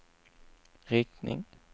riktning